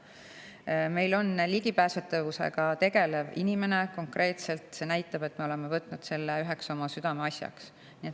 Meil on konkreetselt ligipääsetavusega tegelev inimene, see näitab, et me oleme võtnud selle üheks oma südameasjaks.